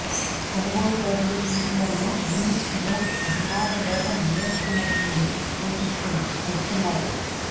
కొనుగోలుదారులు సూచనలను యూనిట్ మూడు అభిమాని వేగం నియంత్రణ ఉంది సూచిస్తుంది చెబుతున్నారు